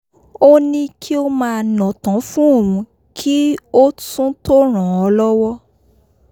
ó ní kí ó máa nàtán fún òun kí ó tún tó ràn án lọ́wọ́